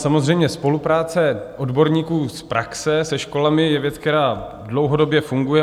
Samozřejmě spolupráce odborníků z praxe se školami je věc, která dlouhodobě funguje.